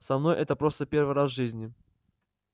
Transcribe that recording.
со мной это просто первый раз в жизни